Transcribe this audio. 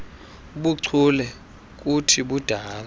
buchule buthi budale